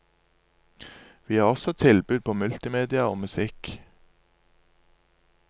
Vi har også tilbud på multimedia og musikk.